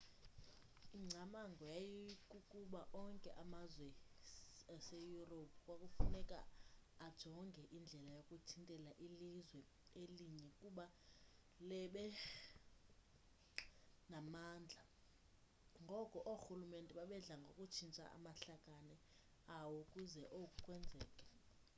ingcamango yayikukuba onke amazwe seyurophu kwakufuneka ajonge indlela yokuthintela ilizwe elinye ukuba lebe namandla ngoko oorhulumente babedla ngokutshintsha amahlakane awo ukuze oku kwenzeke